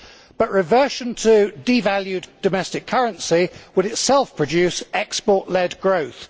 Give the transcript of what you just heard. But reversion to devalued domestic currency would itself produce export led growth.